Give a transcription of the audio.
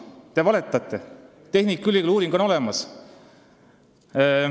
Te valetate, tehnikaülikooli uuring on olemas.